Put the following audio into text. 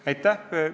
Aitäh!